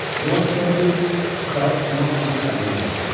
Jon Kenti uşağı tutmaq üçün əlini uzatdı.